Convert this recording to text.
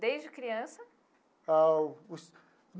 Desde criança? Ah os.